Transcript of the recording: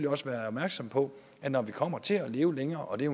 også være opmærksom på at når vi kommer til at leve længere og det er